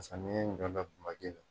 Samiya n'ganda make la.